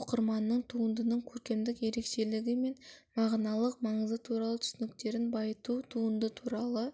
оқырманның туындының көркемдік ерекшелігі мен мағыналық маңызы туралы түсініктерін байыту туынды туралы